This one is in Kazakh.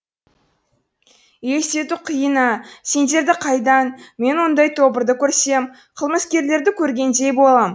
елестету қиын ә сендерді қайдан мен ондай тобырды көрсем қылмыскерлерді көргендей болам